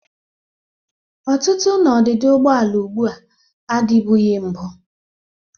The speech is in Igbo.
Ọtụtụ na odịdị ụgbọala ugbu a adịbụghị mbụ.